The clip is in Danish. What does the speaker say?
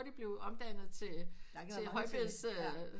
Hurtigt blive omdannet til højbeds øh